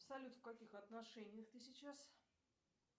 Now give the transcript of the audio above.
салют в каких отношениях ты сейчас